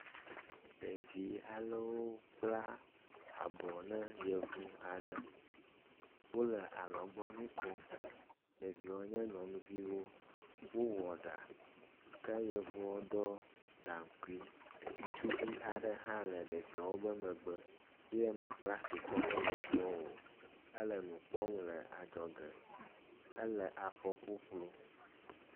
ɖevi alewo kpla abɔ le yevu ale wóle alɔgbɔŋui kom ɖeviwo nye nyɔŋuviwo wó wɔɖa ke yevuɔ ɖɔ gaŋkui ŋusuvi aɖe hã le ɖeviwo ƒe megbe yɛ mekplasi kɔ ne yevuɔ o ele nukpɔm le adzɔge éle afɔ ƒuƒlu